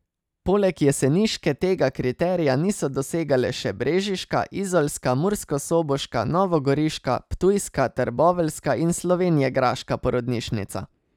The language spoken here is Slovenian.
Poleg jeseniške tega kriterija niso dosegale še brežiška, izolska, murskosoboška, novogoriška, ptujska, trboveljska in slovenjegraška porodnišnica.